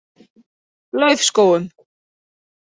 Laufskógum